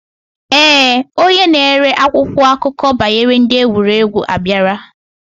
Ee, Onye na ere akwụkwọ akụkọ banyere ndi egwuregwu abiara.